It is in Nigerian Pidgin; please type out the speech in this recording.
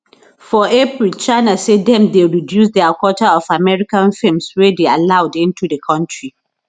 for april china say dem dey reduce dia quota of american films wey dey allowed into di kontri